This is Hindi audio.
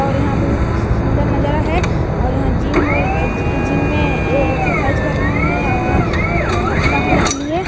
और यहाँ बहुत सुंदर नजारा है और यहाँ जिम और जिम में ए एक्सरसाइज कर रहे हैं आउ अपना पतला होने के लिए--